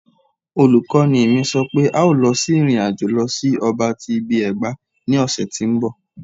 Olukọni mi sọ pe a o lọ si irin-ajo lọ si ọba ti ibi-ẹgba ni ọsẹ ti nbọ